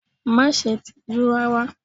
Má ṣe tijú rárá!